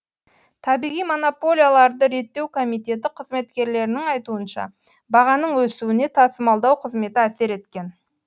табиғи монополияларды реттеу комитеті қызметкерлерінің айтуынша бағаның өсуіне тасымалдау қызметі әсер еткен